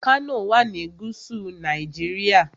Kano wà ní gúúsù Nàìjíríà.